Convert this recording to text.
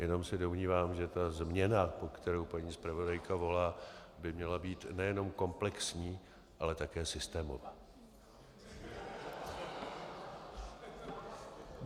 Jenom se domnívám, že ta změna, po které paní zpravodajka volá, by měla být nejenom komplexní, ale také systémová.